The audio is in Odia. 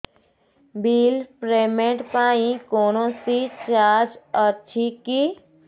ବିଲ୍ ପେମେଣ୍ଟ ପାଇଁ କୌଣସି ଚାର୍ଜ ଅଛି କି